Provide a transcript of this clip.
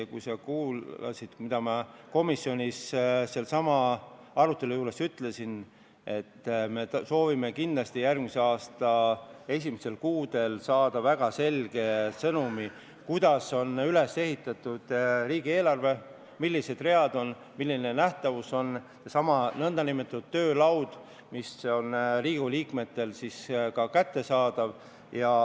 Ja kui sa kuulasid, mida ma komisjonis sellesama arutelu juures ütlesin, siis me soovime kindlasti järgmise aasta esimestel kuudel saada väga selge sõnumi, kuidas on üles ehitatud riigieelarve, millised on read, milline on seesama nn töölaud, mis on siis ka Riigikogu liikmetele kättesaadav.